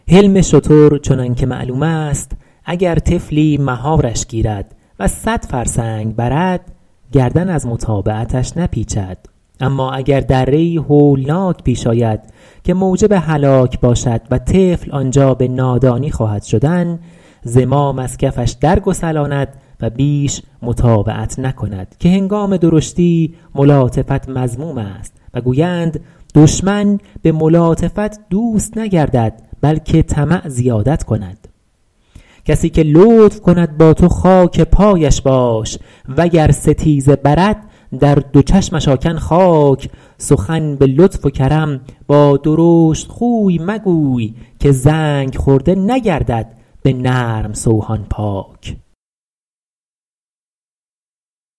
حلم شتر چنان که معلوم است اگر طفلی مهارش گیرد و صد فرسنگ برد گردن از متابعتش نپیچد اما اگر دره ای هولناک پیش آید که موجب هلاک باشد و طفل آنجا به نادانی خواهد شدن زمام از کفش در گسلاند و بیش مطاوعت نکند که هنگام درشتی ملاطفت مذموم است و گویند دشمن به ملاطفت دوست نگردد بلکه طمع زیادت کند کسی که لطف کند با تو خاک پایش باش وگر ستیزه برد در دو چشمش آکن خاک سخن به لطف و کرم با درشتخوی مگوی که زنگ خورده نگردد به نرم سوهان پاک